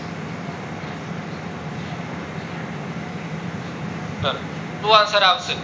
શું answer આવશે